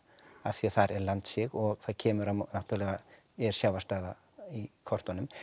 af því að þar er landsig og það kemur á náttúrulega er sjávarstaða í kortunum